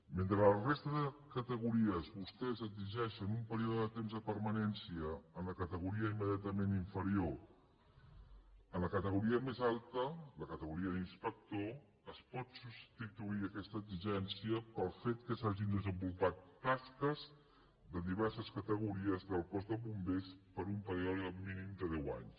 mentre a la resta de categories vostès exigeixen un període de temps de permanència en la categoria immediatament inferior en la categoria més alta la categoria d’inspector es pot substituir aquesta exigència pel fet que s’hagin desenvolupat tasques de diverses categories del cos de bombers per un període mínim de deu anys